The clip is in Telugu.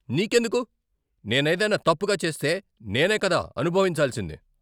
నీకెందుకు? నేనేదైనా తప్పుగా చేస్తే నేనే కదా అనుభవించాల్సింది.